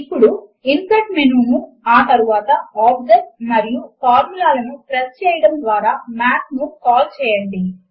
ఇప్పుడు insert menu ను ఆ తరువాత ఆబ్జెక్ట్ మరియు ఫార్ములా లను ప్రెస్ చేయడము ద్వారా మాత్ ను కాల్ చేయండి